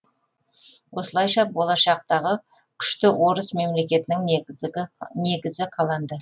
осылайша болашақтағы күшті орыс мемлекетінің негізі қаланды